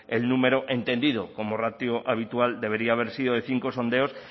el número entendido como ratio habitual debería haber sido de cinco sondeos